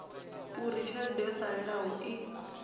uri tshelede yo salelaho i